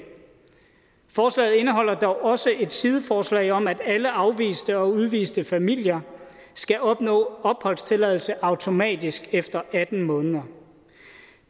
forslaget indeholder dog også et sideforslag om at alle afviste og udviste familier skal opnå opholdstilladelse automatisk efter atten måneder